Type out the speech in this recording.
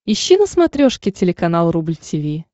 ищи на смотрешке телеканал рубль ти ви